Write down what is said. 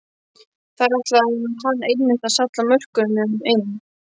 Þar ætlaði hann einmitt að salla mörkunum inn!